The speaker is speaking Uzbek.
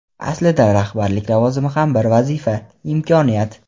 Aslida rahbarlik lavozimi ham bir vazifa, imkoniyat.